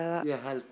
ég held